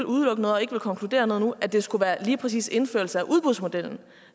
udelukke noget og ikke vil konkludere noget nu at det skulle være lige præcis indførelse af udbudsmodellen